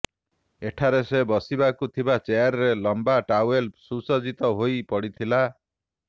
ଏଠାରେ ସେ ବସିବାକୁ ଥିବା ଚେୟାରରେ ଲମ୍ବା ଟାୱେଲ ସୁସଜ୍ଜିତ ହୋଇ ପଡ଼ିଥିଲା